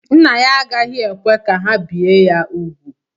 Nna ya agaghị ekwe ka ha bie ya úgwù.